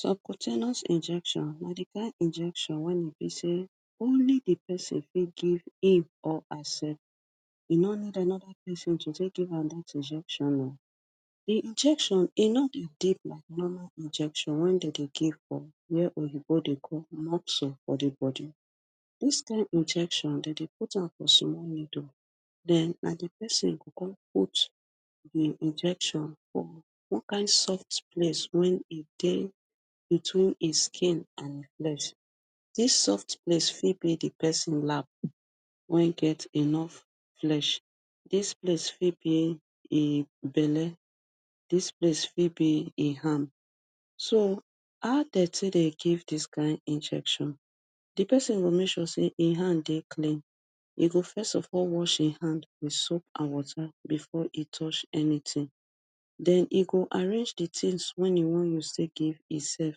Subcutaneous injection na the kind injection wey e be sey only the pesin fit give im or herself. E no need another pesin to take give am dat injection oh. The injection, e no dey dey like normal injection wey dem dey give for where Oyinbo dey call for the body. Dis new injection, de dey put am for small needle, den na the pesin go con put the injection for one kind soft place wey e dey between e skin and e flesh. Dis soft place fit be the pesin lap wey get enough flesh. Dis place fit be e belle, dis place fit be e hand. So, how de take dey giv dis kind injection? The pesin go make sure sey e hand dey clean. E go first of all wash e hand with soap and water before e touch anything. Den e go arrange the things when e wan use take give imself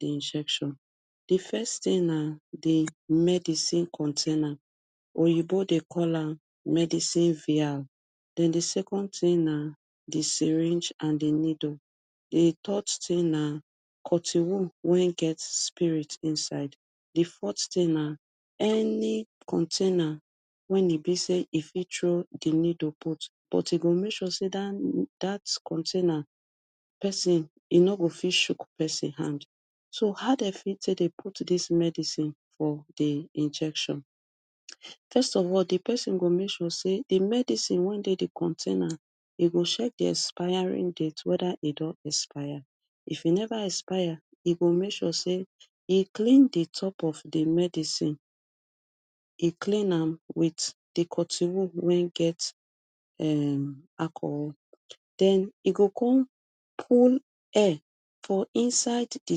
the injection. The first thing na the medicine container. Oyinbo dey call am medicine vial. Den the second thing na the syringe and the needle. The third thing na cottonwool wey get spirit inside. The fourth thing na any container, when e be sey e fit throw the needle put but you go make sure sey dat dat container pesin e no go fit chuk pesin hand. So, how de fit take dey put dis medicine for the injection. First of all, the pesin go make sure sey, the medicine when dey the container, e go check the expiring date whether e don expire. If e never expire, e go make sure sey, e clean the top of the medicine. E clean am with the cottonwool wey get um alcohol. Den e go con pull air for inside the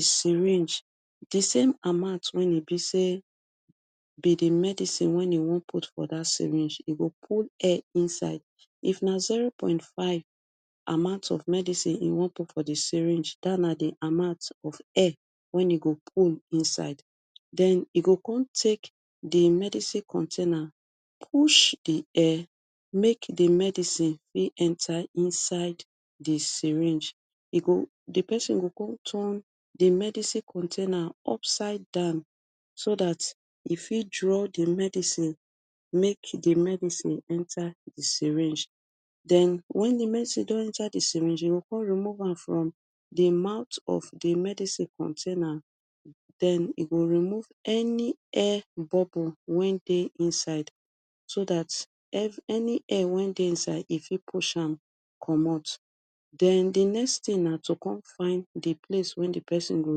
syringe. The same amount when e be sey be the medicine when e wan put for dat syringe. E go pull air inside. If na zero-point five amount of medicine e wan put for the syringe, dat na the amount of air when e go pull inside. Den e go con take the medicine container push the air, make the medicine fit enter inside the syringe. E go, the pesin go con turn the medicine container upside down, so dat e fit draw the medicine, make the medicine enter inside the syringe. Den when the medicine don enter the syringe, you go con remove am from the mouth of the medicine container den e go remove any air bubble wey dey inside. So dat any air wey dey inside, e fit push am comot. Den the next thing na to con find the place wey the pesin go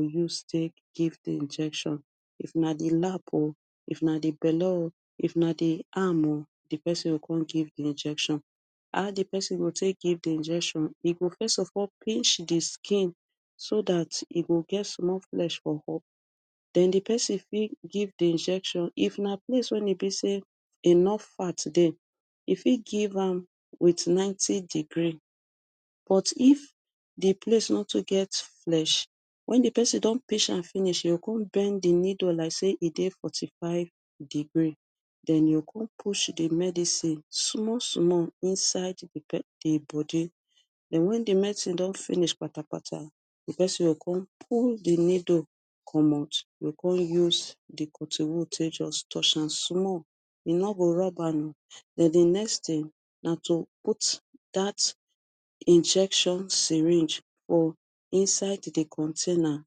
use take give the injection. If na the lap oh, if na the belle oh, if na the arm oh, the pesin go give the injection. How the pesin go take give the injection? E go first of all pinch the skin so dat e go get small flesh for up. Den the pesin fit give the injection. If na place when e be sey enough fat dey, e fit give am with ninety degree but if the place no too get flesh, when the pesin don pinch am finish, e go con bend the needle like sey e dey forty-five degree. Den you con push the medicine small small inside the body. then when the medicine don finish kpatakpata, the pesin go con pull the needle comot. You go con use the cottonwool take just touch am small. You no go rub am oh. then the next thing na to put dat injection syringe for inside the container.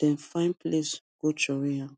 Den find place go throw away am.